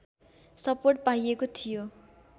support पाइएको थियो